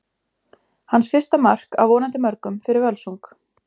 Hans fyrsta mark, af vonandi mörgum, fyrir Völsung!